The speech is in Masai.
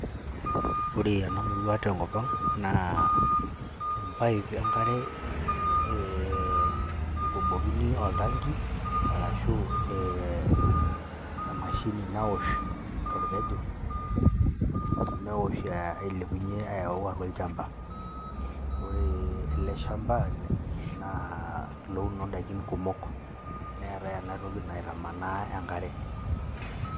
Ore ena murua tenkop ang' naa empaip enkare ee ikobokini oltanki arashu ee emashini nawosh torkeju, newosh ailepunye ayau atua ochamba. Ore ele shamba naa oloouno indaikin kumok, neetai ena toki naitamanaa enkare.